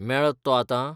मेळत तो आतां?